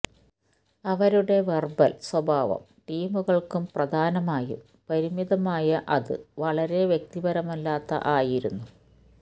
അവരുടെ വെർബൽ സ്വഭാവം ടീമുകൾക്കും പ്രധാനമായും പരിമിതമായ അത് വളരെ വക്തിപരമല്ലാത്ത ആയിരുന്നു